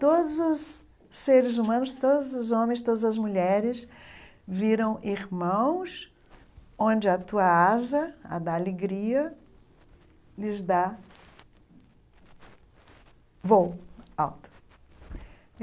Todos os seres humanos, todos os homens, todas as mulheres viram irmãos onde a tua asa, a da alegria, lhes dá voo alto.